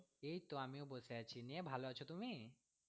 এইতো আমিও বসে আছি, নিয়ে ভালো আছো তুমি?